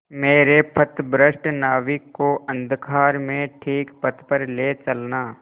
मेरे पथभ्रष्ट नाविक को अंधकार में ठीक पथ पर ले चलना